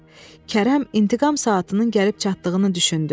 Kərəm intiqam saatının gəlib çatdığını düşündü.